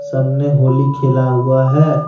सब ने होली खेला हुआ है।